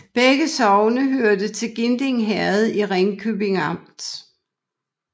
Begge sogne hørte til Ginding Herred i Ringkøbing Amt